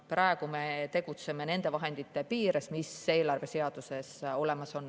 Praegu me tegutseme nende vahendite piires, mis eelarveseaduses olemas on.